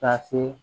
Ka se